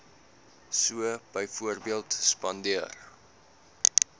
so byvoorbeeld spandeer